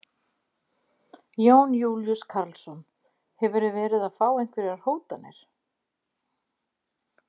Jón Júlíus Karlsson: Hefurðu verið að fá einhverjar hótanir?